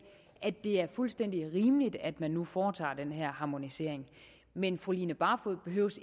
at det er fuldstændig rimeligt at man nu foretager den her harmonisering men fru line barfod behøver